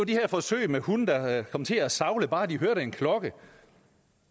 det her forsøg med hunde der kom til at savle bare de hørte en klokke